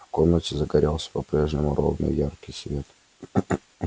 в комнате загорелся по-прежнему ровный и яркий свет